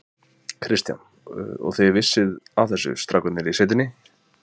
Kristján: Og þið vissuð af þessu, strákarnir í sveitinni?